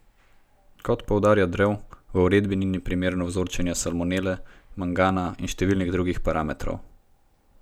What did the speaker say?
Kot poudarja Drev, v uredbi ni na primer vzorčenja salmonele, mangana in številnih drugih parametrov.